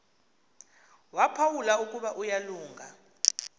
waphawula ukuba uyalunga